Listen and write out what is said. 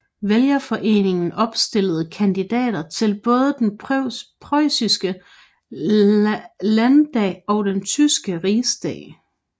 Vælgerforeningen opstillede kandidater til både den preussiske landdag og den tyske rigsdag